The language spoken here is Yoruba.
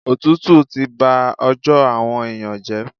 Òtútù ti ba ọjọ́ àwọn èèyàn jẹ́.